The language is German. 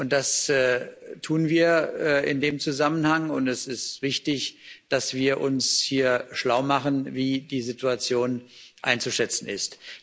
Das tun wir in dem Zusammenhang, und es ist wichtig, dass wir uns hier schlau machen, wie die Situation einzuschätzen ist.